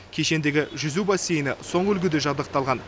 кешендегі жүзу бассейні соңғы үлгіде жабдықталған